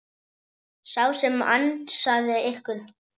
Sá sem ansaði ykkur.